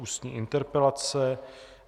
Ústní interpelace